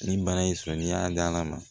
Nin bana in sɔrɔ n'i y'a da ala ma